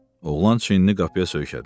Oğlan çiynini qapıya söykədi.